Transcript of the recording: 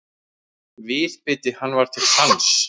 Viðbiti hann var til sanns.